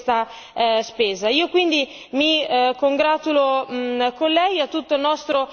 Bisogna darli a chi è efficiente e a chi è efficace in questa spesa.